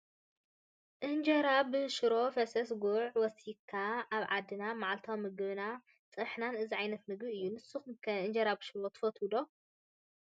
እንጀራ ብሽሮ ፈሰስ ጉዕ ወሲክካ ኣብ ዓድና መዓልታዊ ምግብናን ፀብሕናን እዚ ዓይነት ምግቢ እዩ:: ንስኩም ከ እንጀራ ብሽሮ ትፈትዎ ዶ ?